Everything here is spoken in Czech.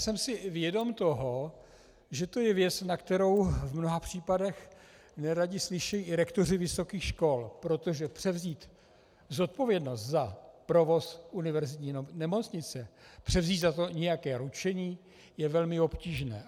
Jsem si vědom toho, že to je věc, na kterou v mnoha případech neradi slyší i rektoři vysokých škol, protože převzít zodpovědnost za provoz univerzitní nemocnice, převzít za to nějaké ručení je velmi obtížné.